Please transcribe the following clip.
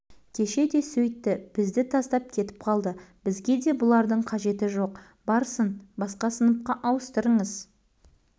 кеше де сөйтті бізді тастап кетіп қалды бізге де бұлардың қажеті жоқ барсын басқа сыныпқа ауыстырыңыз